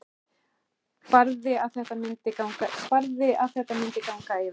Barði að þetta myndi ganga yfir.